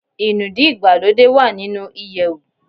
Inúdí ìgbàlódé wá nínú iyewu